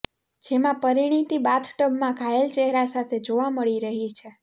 જેમાં પરિણીતી બાથટબમાં ઘાયલ ચહેરા સાથે જોવા મળી રહી છે